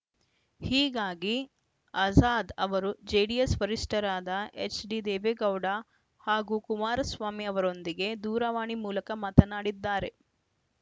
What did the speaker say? ಹೀಗಾಗಿ ಆಜಾದ್‌ ಅವರು ಜೆಡಿಎಸ್‌ ವರಿಷ್ಠರಾದ ಎಚ್‌ಡಿದೇವೇಗೌಡ ಹಾಗೂ ಕುಮಾರಸ್ವಾಮಿ ಅವರೊಂದಿಗೆ ದೂರವಾಣಿ ಮೂಲಕ ಮಾತನಾಡಿದ್ದಾರೆ